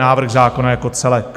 Návrh zákona jako celek.